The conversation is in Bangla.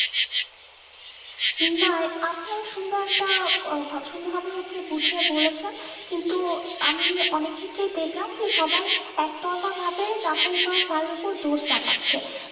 নাই আপনার সুন্দর একটা আহ ভাব সুন্দর ভাবে হচ্ছে বুজিয়ে বলেছেন কিন্তু আমি অনিক ক্ষেত্রে দেখলাম যে সবাই একটা এটা ভাবে দোষ চাপাচ্ছে